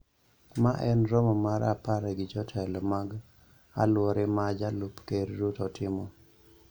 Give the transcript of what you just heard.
Mae en romo mar apar gi jotelo mag aluore ma Jalup Ker Ruto timo.